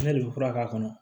Ne de bɛ fura k'a kɔnɔ